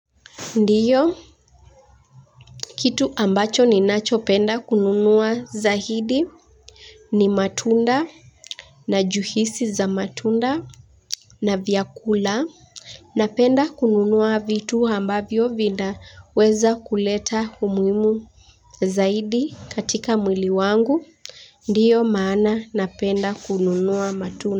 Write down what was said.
Ndiyo kitu ambacho ninachopenda kununua zaidi ni matunda na juisi za matunda na vyakula napenda kununua vitu ambavyo vinaweza kuleta umuhimu. Zaidi katika mwili wangu, ndiyo maana napenda kununua matunda.